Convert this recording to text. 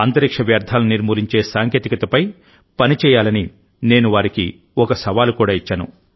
అంతరిక్ష వ్యర్థాలను నిర్మూలించే సాంకేతికతపై పని చేయాలనినేను వారికి ఒక సవాలు కూడా ఇచ్చాను